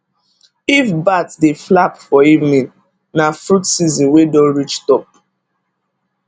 if bat dey flap for evening na fruit season wey don reach top